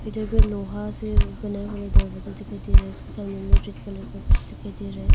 इधर में लोहा से बना बना दरवाजा दिखाई दे रहा है इसके सामने में रेड कलर का कुछ दिखाई दे रहा है।